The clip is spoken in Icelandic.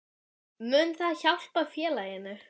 Mun það hjálpa félaginu?